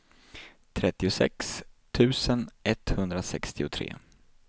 trettiosex tusen etthundrasextiotre